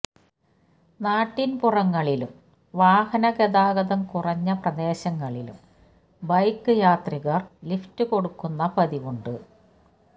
നാട്ടിന്പുറങ്ങളിലും വാഹന ഗതാഗതം കുറഞ്ഞ പ്രദേശങ്ങളിലും ബൈക്ക് യാത്രികര് ലിഫ്റ്റ് കൊടുക്കുന്ന പതിവുണ്ട്